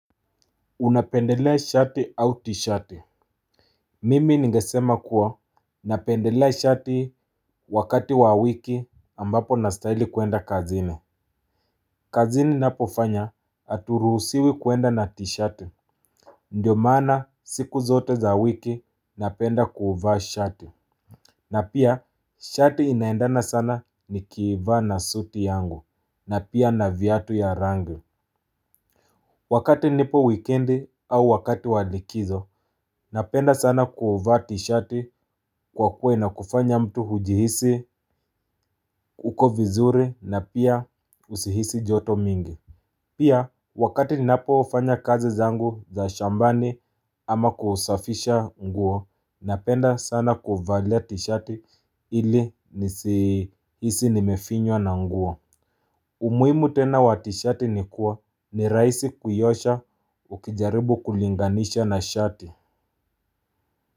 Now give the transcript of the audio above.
Unapendelea shati au tishati. Mimi ningesema kuwa napendelea shati wakati wa wiki ambapo na stahili kuenda kazini. Kazini napofanya aturuhusiwi kuenda na tishati. Ndiyo maana siku zote za wiki napenda kuvaa shati. Na pia shati inaendana sana nikivaa na suti yangu na pia na vyatu ya rangu. Wakati nipo wikendi au wakati wa likizo, napenda sana kuvaa tishati kwa kuwa ina kufanya mtu hujihisi uko vizuri na pia usihisi joto mingi pia wakati ninapofanya kazi zangu za shambani ama kusafisha nguo napenda sana kuvalia tishati ili nisihisi nimefinywa na nguo. Umuimu tena wa tishati ni kuwa ni raisi kuiosha ukijaribu kulinganisha na shati.